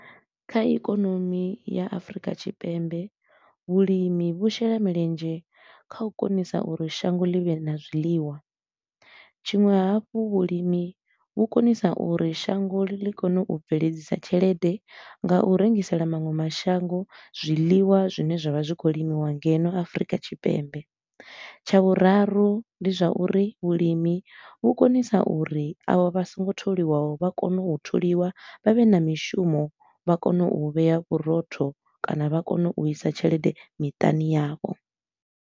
Kha ikonomi ya Afrika Tshipembe, vhulimi vhu shela milenzhe kha u konisa uri shango ḽi vhe na zwiḽiwa. Tshiṅwe hafhu vhulimi vhu konisa uri shango ḽi kone u bveledzisa tshelede nga u rengisela maṅwe mashango zwiḽiwa zwine zwa vha zwi khou limiwa ngeno Afrika Tshipembe. Tsha vhuraru ndi zwa uri vhulimi vhu konisa uri a vho vha so ngo tholiwaho, vha kone u tholiwa vha vhe na mishumo vha kone u vhea vhurotho kana vha kone u isa tshelede miṱani yavho.